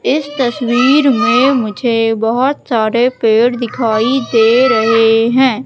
इस तस्वीर में मुझे बहोत सारे पेड़ दिखाई दे रहे हैं।